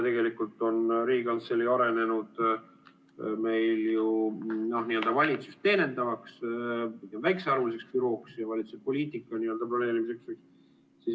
Tegelikult on Riigikantselei arenenud meil ju n-ö valitsust teenindavaks väikesearvuliseks bürooks ja valitsuse poliitika planeerijaks.